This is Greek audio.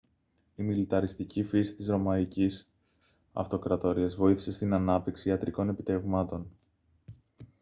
η μιλιταριστική φύση της ρωμαϊκής αυτοκρατορίας βοήθησε στην ανάπτυξη ιατρικών επιτευγμάτων